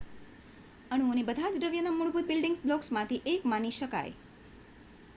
અણુઓને બધાજ દ્રવ્યના મૂળભૂત બિલ્ડિંગ બ્લોક્સમાંથી એક માની શકાય